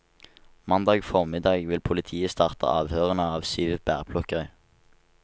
Mandag formiddag vil politiet starte avhørene av syv bærplukkere.